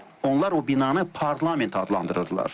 Onlar o binanı parlament adlandırırdılar.